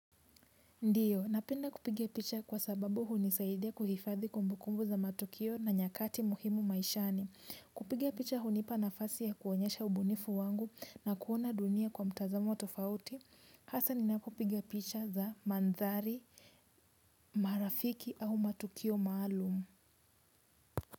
Ndio, napenda kupiga picha kwa sababu hunisaidia kuhifadhi kumbukumbu za matukio na nyakati muhimu maishani. Kupiga picha hunipa nafasi ya kuonyesha ubunifu wangu na kuona dunia kwa mtazamo tofauti. Hasa ninapopiga picha za mandhari, marafiki au matukio maalum.